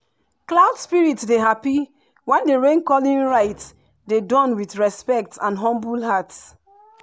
cloud spirit dey happy when rain-calling rite dey done with respect and humble heart.